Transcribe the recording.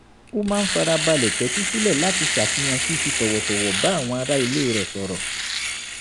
ó máa ń farabalẹ̀ tẹ́tí sílẹ̀ láti ṣàfihàn fífi tọ̀wọ̀tọ̀wọ̀ bá àwọn ará ilé rẹ̀ sọ̀rọ̀